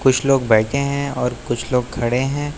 कुछ लोग बैठे हैं और कुछ लोग खड़े हैं।